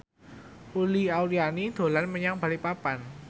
Uli Auliani dolan menyang Balikpapan